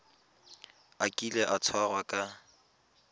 a kile a tshwarwa ka